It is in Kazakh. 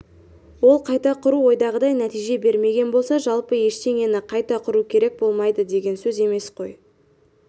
ол қайта құру ойдағыдай нәтиже бермеген болса жалпы ештеңені қайта құру керек болмайды деген сөз емес қой